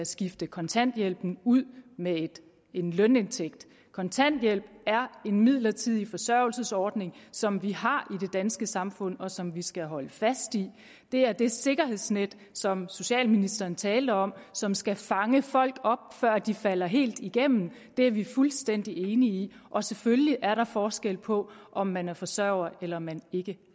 skifte kontanthjælpen ud med en lønindtægt kontanthjælp er en midlertidig forsørgelsesordning som vi har i det danske samfund og som vi skal holde fast i det er det sikkerhedsnet som socialministeren talte om som skal fange folk før de falder helt igennem det er vi fuldstændig enige i og selvfølgelig er der forskel på om man er forsørger eller man ikke